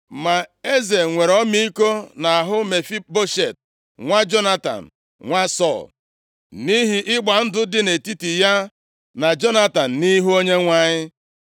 Ma eze nwere ọmịiko nʼahụ Mefiboshet nwa Jonatan, nwa Sọl, nʼihi ịgba ndụ dị nʼetiti ya na Jonatan nʼihu Onyenwe anyị.